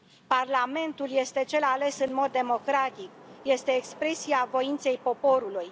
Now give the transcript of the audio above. Parlamentul este cel ales în mod democratic, este expresia voinței poporului.